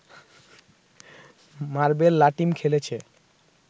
marble লাটিম খেলেছে